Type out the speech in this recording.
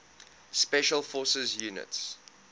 special forces units